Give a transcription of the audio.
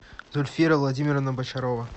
зульфира владимировна бочарова